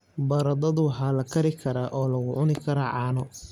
Baradhadu waxaa la kari karaa oo lagu cuni karaa caano.